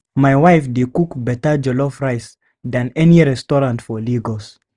My wife dey cook better jollof rice than any restaurant for Lagos.